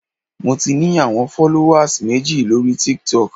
Mo ti ní àwọn fọ́lówàs méjì lóri Tiktok.